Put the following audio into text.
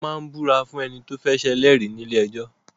Wọ́n ń ìbúra fún ẹni tó fẹ́ ṣe ẹlẹ́rìí nílé ẹjọ́.